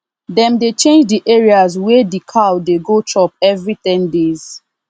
dem dey change the areas wey d cow dey go chop every ten days